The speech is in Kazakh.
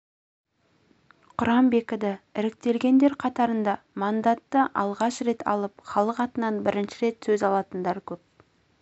құрам бекіді іріктелгендер қатарында мандатты алғаш рет алып іалық атынан бірінші рет сөз алатындар көп